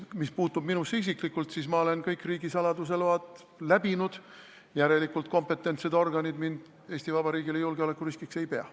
Mis puutub minusse isiklikult, siis ma olen kõik riigisaladuse load saanud, järelikult kompetentsed organid mind Eesti Vabariigile julgeolekuriskiks ei pea.